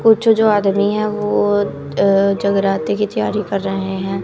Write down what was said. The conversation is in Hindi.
कुछ जो आदमी है वो अ जगराते की तैयारी कर रहे हैं।